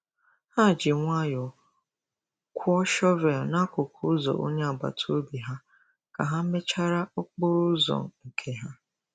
Ha ji nwayọọ kwọọ shọvel n'akụkụ ụzọ onye agbata obi ha ka ha mechara okporo ụzọ nke ha.